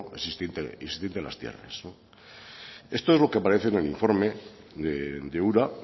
existente en las tierras esto es lo que aparece en el informe de ura